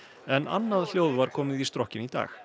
en annað hljóð var komið í strokkinn í dag